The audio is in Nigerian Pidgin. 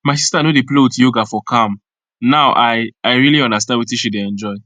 my sister no dey play with yoga for calm now i i really understand wetin she dey enjoy